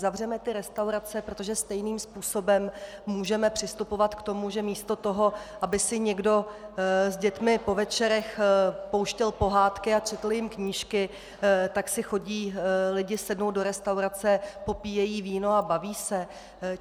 Zavřeme ty restaurace, protože stejným způsobem můžeme přistupovat k tomu, že místo toho, aby si někdo s dětmi po večerech pouštěl pohádky a četl jim knížky, tak si chodí lidé sednout do restaurace, popíjejí víno a baví se?